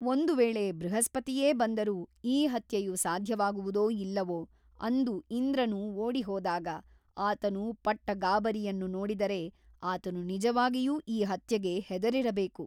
ಒಂದು ವೇಳೆ ಬೃಹಸ್ಪತಿಯೇ ಬಂದರೂ ಈ ಹತ್ಯೆಯು ಸಾಧ್ಯವಾಗುವುದೋ ಇಲ್ಲವೋ ಅಂದು ಇಂದ್ರನು ಓಡಿಹೋದಾಗ ಆತನು ಪಟ್ಟ ಗಾಬರಿಯನ್ನು ನೋಡಿದರೆ ಆತನು ನಿಜವಾಗಿಯು ಈ ಹತ್ಯೆಗೆ ಹೆದರಿರಬೇಕು.